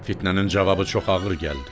Fitnənin cavabı çox ağır gəldi.